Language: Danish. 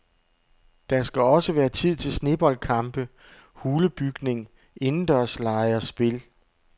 Der skal også være tid til sneboldkampe, hulebygning, indendørslege og spil.